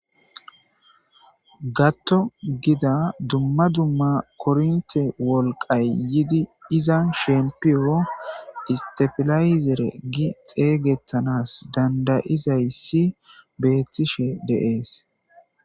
gatto gida dumma dumma kornte wolqay yidi izan shempiyoo istefilayzere gi xeeygettanas dandayizaysi beettishe deees